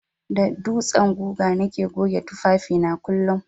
Da dutsen guga nake goge tufafi na kullun.